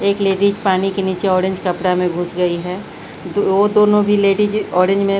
एक लेडीज पानी के नीचे ऑरेंज कपड़ा में घुस गई है दो वो दोनों भी लेडीज ऑरेंज में --